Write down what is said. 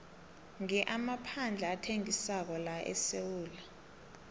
ngi amaphandle athengisako laesewula